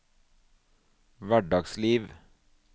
hverdagsliv